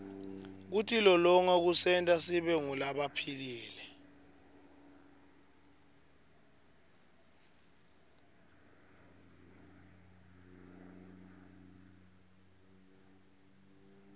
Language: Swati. kutilolonga kusenta sibe ngulabaphilile